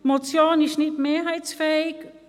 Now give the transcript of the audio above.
Die Motion ist nicht mehrheitsfähig.